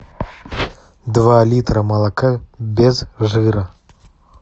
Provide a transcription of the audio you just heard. два литра молока без жира